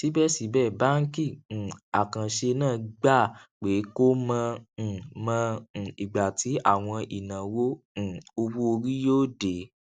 síbèsíbè báńkì um àkànṣe náà gbà pé kò mọ um mọ um ìgbà tí àwọn ìnáwó um owó orí yóò dé